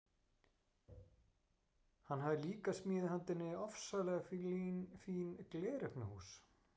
Hann hafði líka smíðað handa henni ofsalega fín gleraugnahús.